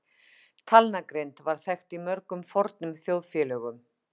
Talnagrind var þekkt í mörgum fornum þjóðfélögum.